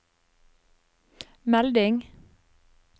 melding